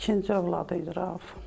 İkinci övladı idi Rauf.